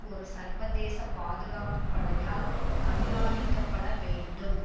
ஒரு சர்வதேச பாதுகாப்பு படையால் கண்காணிக்க பட வேண்டும்